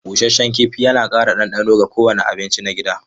Busasshen kifi yana ƙara ɗanɗano ga kowane abinci na gida.